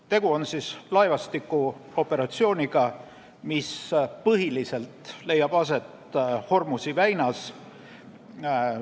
Tegu on laevastikuoperatsiooniga, mis põhiliselt leiab aset Hormuzi väinas.